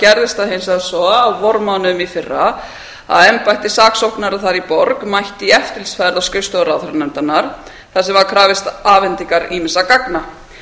gerðist það hins vegar svo á vormánuðum í fyrra að embætti saksóknara þar í borg mætti í eftirlitsferð á skrifstofu ráðherranefndarinnar þar sem var krafist afhendingar ýmissa gagna